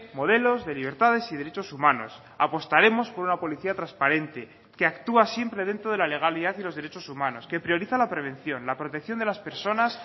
modelos de libertades y derechos humanos apostaremos por una policía transparente que actúa siempre dentro de la legalidad y los derechos humanos que prioriza la prevención la protección de las personas